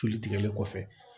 Celu tigɛlen kɔfɛ